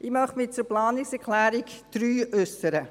Ich möchte mich zur Planungserklärung 3 äussern.